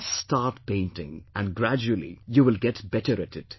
Just start painting and gradually you will get better at it